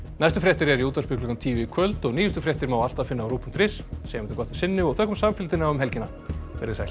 næstu fréttir eru í útvarpi klukkan tíu í kvöld og nýjustu fréttir má alltaf finna á rúv punktur is en segjum þetta gott að sinni og þökkum samfylgdina um helgina veriði sæl